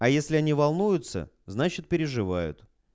а если они волнуются значит переживают